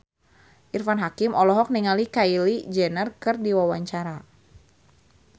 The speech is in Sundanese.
Irfan Hakim olohok ningali Kylie Jenner keur diwawancara